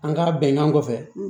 An ka bɛnkan kɔfɛ